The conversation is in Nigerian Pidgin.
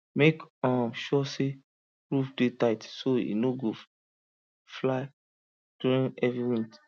make um sure say roof dey tight so e no go fly during heavy wind